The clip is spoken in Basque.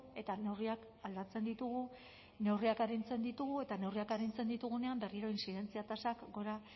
eta neurriak aldatzen ditugu neurriak arintzen ditugu eta neurriak arintzen ditugunean berriro intzidentzia tasek gora